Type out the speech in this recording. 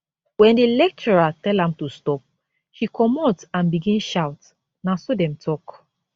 wen di lecturer tell am to stop she comot and begin shout na so dem tok